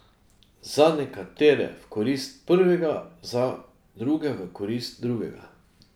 Za nekatere v korist prvega, za druge v korist drugega.